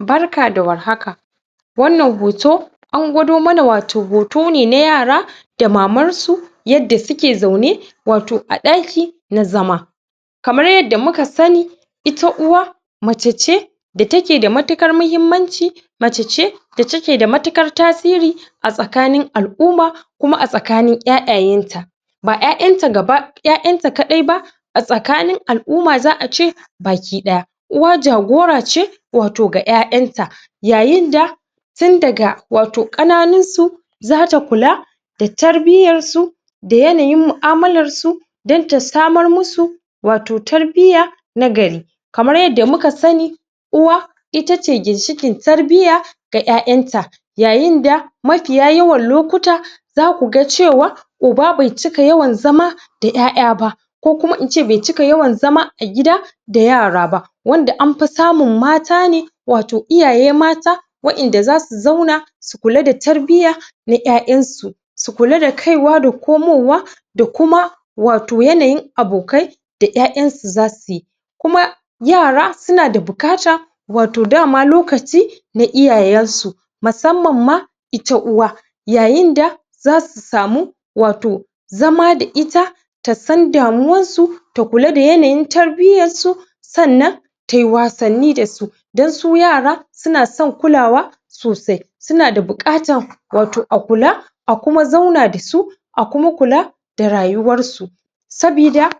Barka da warhaka, a wannan hoto an gwado mana hoto ne wato na yara da mansu yanda su ke zaune wato a ɗaki na zama. Kamar yanda muka sani, ita uwa mace ce da take da matuƙar muhimmanci mace ce da take da matuƙar tasiri a tsakanin al'umma kuma a tsakanin ƴaƴayanta. Ba ƴaƴanta gaba ƴaƴanta kadai ba a tsakanin al'umma za a ce baki ɗaya. Uwa jagora ce wato ga ƴaƴanta, yayinda tun daga kananun su za ta kula da tarbiyyan su da yanayin mu'amalar su don ta samar musu wato tarbiyya na gari. Kamar yanda muka sani, Uwa itace ginshikin tarbiyya ga ƴaƴanta. Yayin da mafiya yawan lokuta za kuga cewa uba bai cika yawan zama da ƴaƴa ba ko kuma ince bai cika yawan zama a gida da yara ba. Wanda anfi samun mata ne wato iyaye mata waƴanda za su zauna su kuma da tarbiyya na ƴaƴan su. Su kula da kaiwa da komo wa da kuma wato yanayin abokai da ƴaƴan su za suyi Kuma yara suna da buƙata wato dama lokaci na iyayen su musamman ma ita uwa, yayin da za su samu wato zama da ita ta san damuwan su, ta kula da yanayin tarbiyyan su sannan tayi wasanni da su don su yara su na son kulawa sosai. Su na da buƙatan a kula a kuma zauna da su a kuma kula da rayuwar su saboda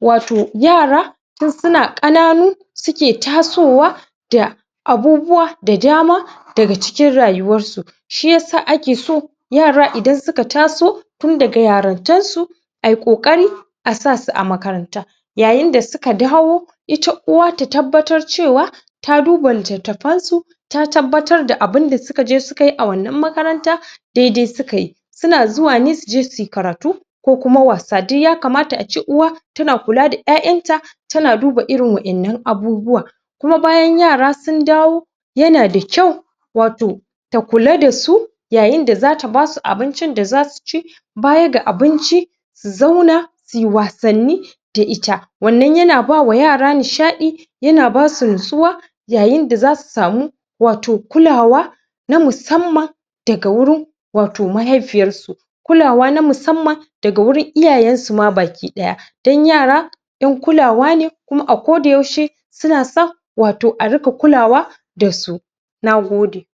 wato yara tun suna ƙananu su ke tasowa da abubuwa da dama daga cikin rayuwar su. Shiyasa ake so yara idan suka ta so tun daga yarintar su ayi ƙoƙari a sa su a makaranta yayin da suka dawo ita uwa ta tabbatar cewa ta duba littafan su ta tabbatar da abinda suka je su kayi a wannan makarantan daidai su ka yi Su na zuwa ne su je suyi karatu ko kuma wasa. Duk ya kamata a ce uwa tana kula da ƴaƴanta ta na duba irn wannan abubuwan kuma bayan yara sun dawo, yana da kyau wato ta kula da su yayinda za ta basu abincin da zasu ci baya ga abinci, su zauna, su yi wasanni da ita. Wannan yana ba ma yara nishadi yana ba su natsuwa, yayin da za su samu wato kulawa na musamman daga wurin wato mahaifiyar su kulawa na musamman daga wurin iyayen su ma baki daya. Don yara ƴan kulawa ne kuma a ko da yaushe suna son a dinga kulawa da su. Na gode.